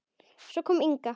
Svo kom Inga.